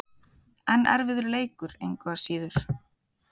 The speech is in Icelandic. En erfiður leikur, engu að síður.